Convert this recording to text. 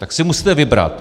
Tak si musíte vybrat.